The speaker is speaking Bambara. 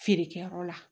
Feerekɛyɔrɔ la